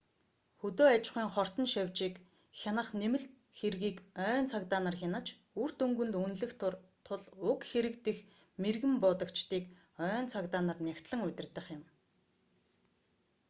хөдөө аж ахуйн хортон шавьжийг хянах нэмэлт хэргийг ойн цагдаа нар хянаж үр дүнг нь үнэлэх тул уг хэрэг дэх мэргэн буудагчдыг ойн цагдаа нар нягтлан удирдах юм